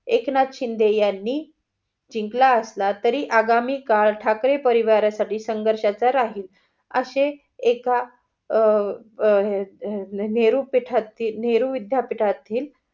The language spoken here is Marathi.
एकनाथ शिंदे यांनी जिंकला असला तरी आगामी काळ ठाकरे परीवार साठी संघर्षाचा राहील, असे एका नेहरू पिठात, नेहरू विद्यापीठातील